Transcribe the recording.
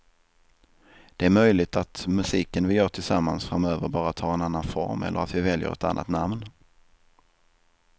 Det är möjligt att musiken vi gör tillsammans framöver bara tar en annan form eller att vi väljer ett annat namn.